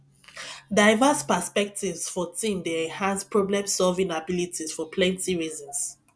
diverse perspectives for team dey enhance problemsolving abilities for plenty reasons